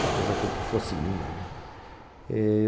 Talvez a culpa fosse minha.